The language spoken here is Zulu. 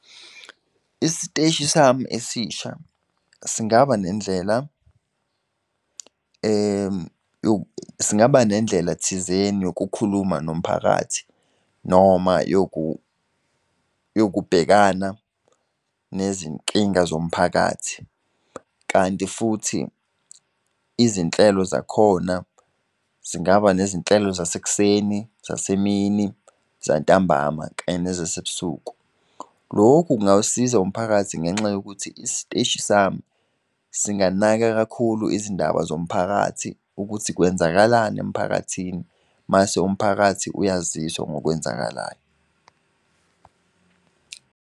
Isiteshi sami esisha singaba nendlela singaba nendlela thizeni yokukhuluma nomphakathi noma yokubhekana nezinkinga zomphakathi. Kanti futhi, izinhlelo zakhona zingaba nezinhlelo sasekuseni, zasemini, zantambama, kanye nasebusuku. Lokhu kungawusiza umphakathi ngenxa yokuthi isiteshi sami singanaka kakhulu izindaba zomphakathi ukuthi kwenzakalani emphakathini, mase umphakathi uyaziswa ngokwenzakalayo.